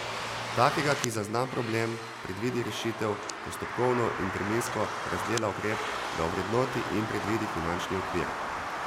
Takega, ki zazna problem, predvidi rešitev, postopkovno in terminsko razdela ukrep, ga ovrednoti in predvidi finančni okvir.